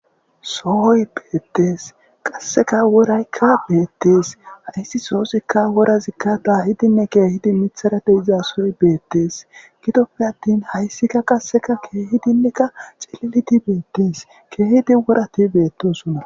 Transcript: sooy beettees qasseka woraykka beettees hayssi soosikka worazikka dayidinne keehidi mithara de'iza sooy beettees gidoppe attin hayssikka qasseka keehidinnekka xililidi beettees keehidi worati beettosona